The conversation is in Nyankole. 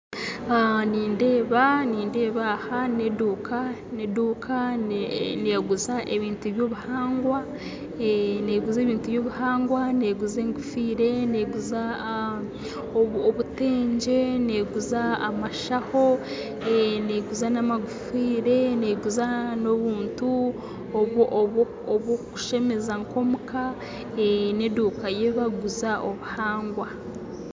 Nindeeba aha n'eduuka neguza ebintu eby'obuhangwa neguza enkofiire neguza obutengye neguza amashaho neguza n'amagufiire neguza n'obuntu obw'okushemeza nk'omuka n'enduuka ahi bakuguza obuhangwa.